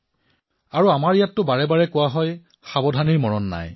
আৰু আমাৰ ইয়াততো বাৰে বাৰে কোৱা হয় সাৱধানতা আঁতৰিলেই দুৰ্ঘটনা সংঘটিত হয়